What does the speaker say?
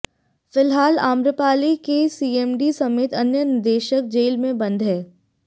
फिलहाल आम्रपाली के सीएमडी समेत अन्य निदेशक जेल में बंद हैं